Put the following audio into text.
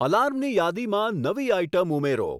આલાર્મની યાદીમાં નવી આઇટમ ઉમેરો